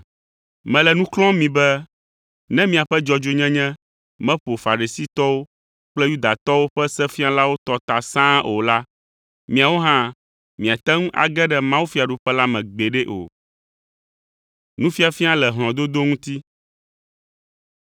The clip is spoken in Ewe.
Mele nu xlɔ̃m mi be, ne miaƒe dzɔdzɔnyenye meƒo Farisitɔwo kple Yudatɔwo ƒe sefialawo tɔ ta sãa o la, miawo hã miate ŋu age ɖe dziƒofiaɖuƒe la me gbeɖe o!”